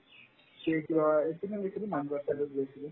সি কই এইটো মই গৈছিলো